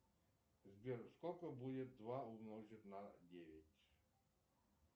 сбер сколько будет два умножить на девять